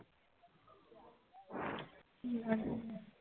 কি ধরনের জিনিস বল